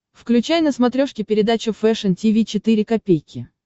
включай на смотрешке передачу фэшн ти ви четыре ка